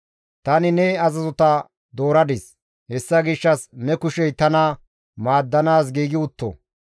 Tani ne azazota dooradis; hessa gishshas ne kushey tana maaddanaas giigi utto.